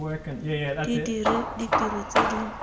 di dire ditiro tse di